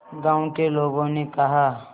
गांव के लोगों ने कहा